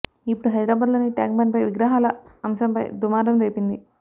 ఇప్పుడు హైదరాబాదులోని ట్యాంక్ బండ్ పై విగ్రహాల అంశంపై దుమారం రేపింది